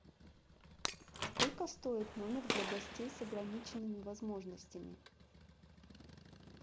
сколько стоит номер для гостей с ограниченными возможностями